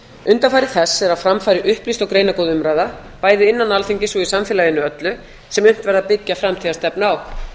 undanfari þess er að fram fari upplýst og greinargóð umræða bæði innan alþingis og í samfélaginu öllu sem unnt væri að byggja framtíðarstefnu á